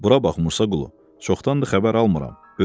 Bura bax Musaqulu, çoxdandır xəbər almıram.